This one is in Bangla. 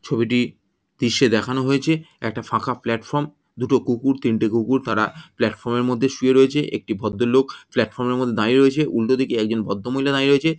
ছবিটি দৃশ্যে দেখানো হয়েছে। একটা ফাঁকা প্লাটফর্ম । দুটো কুকুর তিনটে কুকুর তারা প্লাটফর্ম - এর মধ্যে শুয়ে রয়েছে। একটি ভদ্র লোক প্লাটফর্ম-এর মধ্যে দাঁড়িয়ে রয়েছে। উল্টো দিকে একজন ভদ্র মহিলা দাঁড়িয়ে রয়েছে।